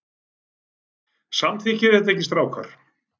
Samþykkið þið það ekki strákar?